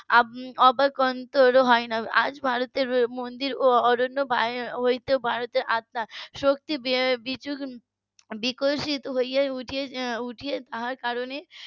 বা অন্তর ও হয় না আজ ভারতের মন্দির ও . ভারতের আত্মা শক্তি বিক~ বিকশিত হয়ে ওঠার কারণে